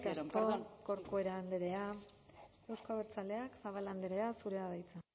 eskerrik asko corcuera andrea euzko abertzaleak zabala andrea zurea da hitza